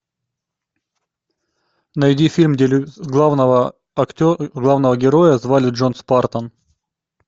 найди фильм где главного главного героя звали джон спартан